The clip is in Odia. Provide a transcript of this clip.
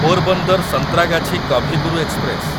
ପୋରବନ୍ଦର ସନ୍ତ୍ରାଗାଛି କଭି ଗୁରୁ ଏକ୍ସପ୍ରେସ